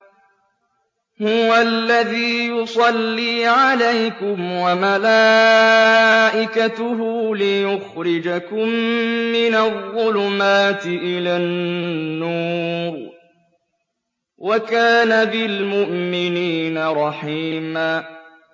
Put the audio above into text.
هُوَ الَّذِي يُصَلِّي عَلَيْكُمْ وَمَلَائِكَتُهُ لِيُخْرِجَكُم مِّنَ الظُّلُمَاتِ إِلَى النُّورِ ۚ وَكَانَ بِالْمُؤْمِنِينَ رَحِيمًا